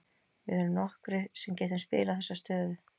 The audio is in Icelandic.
Við erum nokkrir sem getum spilað þessa stöðu.